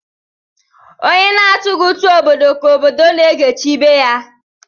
Onye na-atụghi utu obodo ka obodo na-egechi ibe ya